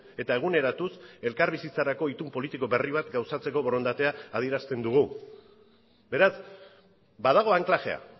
eta eguneratuz elkarbizitzarako itun politiko berri bat gauzatzeko borondatea adierazten dugu beraz badago anklajea